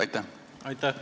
Aitäh!